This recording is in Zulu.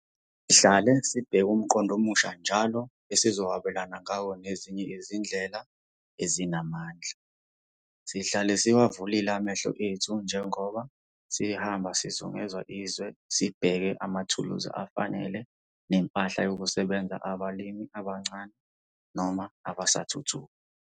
Sihlale sibheka umqondo omusha njalo esizokwabelana ngawo nezinye izindlela ezinamandla. Sihlala siwavulile amehlo ethu njengoba sihamba sizungeza izwe sibheka amathuluzi afanele nempahla yokusebenza yabalimi abancane noma abasathuthuka.